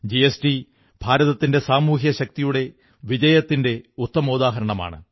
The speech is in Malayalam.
ജിഎസ്ടി ഭാരതത്തിന്റെ സാമൂഹിക ശക്തിയുടെ വിജയത്തിന്റെ ഒരു ഉത്തമോദാഹരണമാണ്